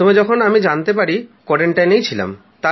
প্রথম যখন জানতে পারি তখন আমি কোয়ারান্টাইনে এ ছিলাম